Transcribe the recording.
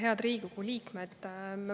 Head Riigikogu liikmed!